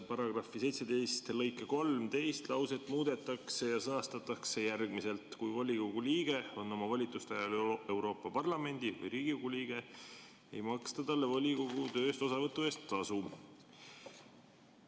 Paragrahvi 17 lõike 3 teine lause muudetakse ja sõnastatakse järgmiselt: "Kui volikogu liige on oma volituste ajal Euroopa Parlamendi või Riigikogu liige, ei maksta talle volikogu tööst osavõtu eest tasu.